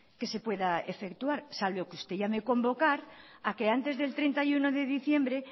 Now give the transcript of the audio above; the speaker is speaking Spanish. que se pueda efectuar salvo que usted llame a convocar a que antes del treinta y uno de diciembre